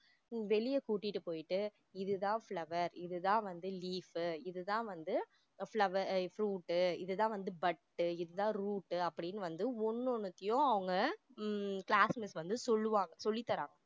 வெளிய கூட்டிட்டு போயிட்டு இது தான் flower இது தான் வந்து leaf உ இது தான் வந்து flower~ fruit இது தான் வந்து bud உ இதுதான் root அப்படின்னு வந்து ஒன்னு ஒன்னுத்தையும் அவங்க ஹம் class miss வந்து சொல்லுவாங்க சொல்லி தராங்க